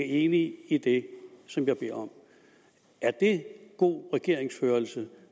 enig i det som jeg bad om er det god regeringsførelse